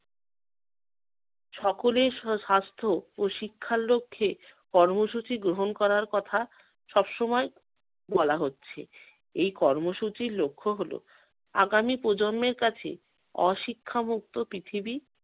সকলের স স্বাস্থ্য শিক্ষার লক্ষ্যে কর্মসূচি গ্রহণ করার কথা সব সময় বলা হচ্ছে। এই কর্মসূচির লক্ষ্য হলো- আগামী প্রজন্মের কাছে অশিক্ষামুক্ত পৃথিবী